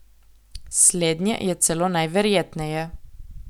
Slednje je celo najverjetneje.